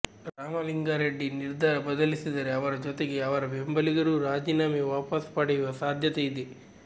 ರಾಮಲಿಂಗಾ ರೆಡ್ಡಿ ನಿರ್ಧಾರ ಬದಲಿಸಿದರೆ ಅವರ ಜೊತೆಗೆ ಅವರ ಬೆಂಬಲಿಗರೂ ರಾಜೀನಾಮೆ ವಾಪಸ್ ಪಡೆಯುವ ಸಾಧ್ಯತೆ ಇದೆ